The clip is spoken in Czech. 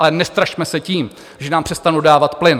Ale nestrašme se tím, že nám přestanou dávat plyn.